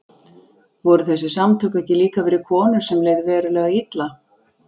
Voru þessi samtök ekki líka fyrir konur sem leið verulega illa?